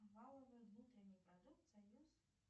валовый внутренний продукт союз